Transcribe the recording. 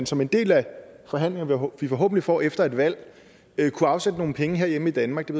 som en del af de forhandlinger vi forhåbentlig får efter et valg kunne afsætte nogle penge herhjemme i danmark det